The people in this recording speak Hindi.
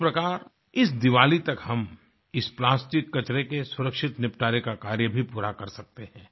इस प्रकार इस दिवाली तक हम इस प्लास्टिक कचरे के सुरक्षित निपटारे का भी कार्य पूरा कर सकते है